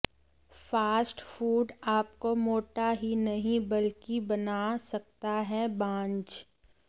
fast food आपको मोटा हीं नहीं बल्कि बना सकता है बांझ